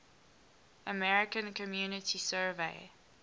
american community survey